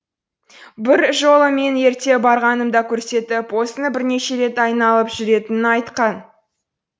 бір жолы мен ерте барғанымда көрсетіп осыны бірнеше рет айналып жүретінін айтқан